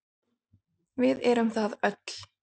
Við erum það öll.